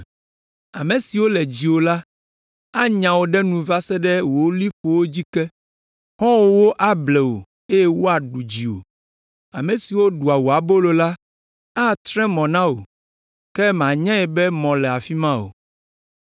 Ame siwo le dziwò la, anya wò ɖe nu va se ɖe wò liƒowo dzi ke, xɔ̃wòwo able wò eye woaɖu dziwò. Ame siwo ɖua wò abolo la, atre mɔ na wò, ke mànyae be mɔ le afi ma o.